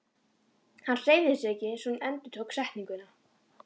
Hann hreyfði sig ekki svo hún endurtók setninguna.